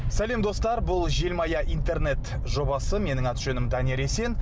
сәлем достар бұл желмая интернет жобасы менің аты жөнім данияр есен